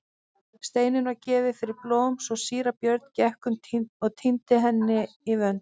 Steinunn var gefin fyrir blóm svo síra Björn gekk um og tíndi henni í vönd.